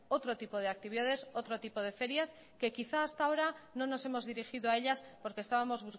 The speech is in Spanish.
otro tipo de actividades otro tipo de ferias que quizá hasta ahora no nos hemos dirigido a ellas porque estábamos